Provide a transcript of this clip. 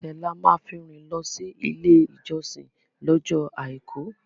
Ẹsẹ̀ la máa fi rìn lọ sí ilé ìjọsìn lọ́jọ́ Àìkú.